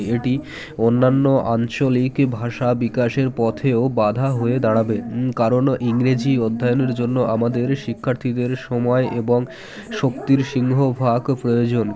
এটি অন্যান্য আঞ্চলিক ভাষা বিকাশের পথেও বাধা হয়ে দাঁড়াবে কারণ ইংরেজি অধ্যায়নের জন্য আমাদের শিক্ষার্থীদের সময় এবং শক্তির সিংহভাগ প্রয়োজন